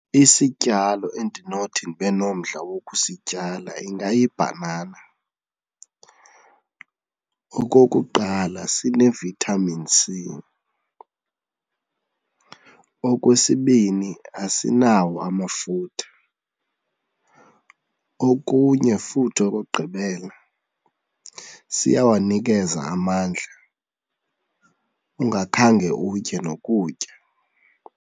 Isityalo endinothi ndibe nomdla wokusityala ingayibhanana. Okokuqala, sine-vitamin C. Okwesibini, asinawo amafutha. Okunye futhi okokugqibela siyawanikeza amandla ungakhange utye nokutya.